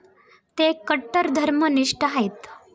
ते कट्टर धर्मनिष्ठ आहेत.